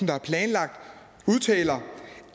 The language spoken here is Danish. der er planlagt udtaler